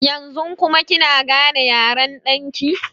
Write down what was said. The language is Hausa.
Yanzu kuma kina gane yaren ɗan ki?